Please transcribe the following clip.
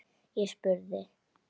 Ég spurði.